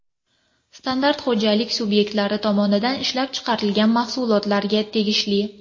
Standart xo‘jalik subyektlari tomonidan ishlab chiqariladigan mahsulotlarga tegishli.